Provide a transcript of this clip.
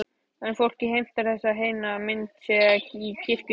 En fólkið heimtar að þessi heiðna mynd sé í kirkjunni.